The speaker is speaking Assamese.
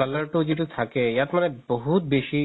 color তো যিতো থাকে ইয়াত মানে বহুত বেচি